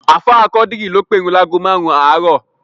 Ààfáà Quadri ló pèrun láágo márùn-ún àárọ̀